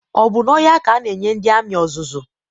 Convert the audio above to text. Ọ bụ n'ọhịa ka ana enye ndị amị ọzụzụ